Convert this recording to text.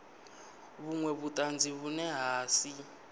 vhunwe vhutanzi vhune ha si